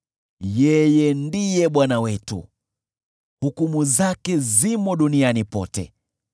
Yeye ndiye Bwana Mungu wetu, hukumu zake zimo duniani pote.